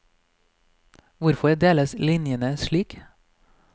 Hvorfor deles linjene slik?